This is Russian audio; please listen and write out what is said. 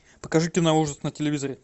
покажи киноужас на телевизоре